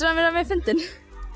hann vera fyndinn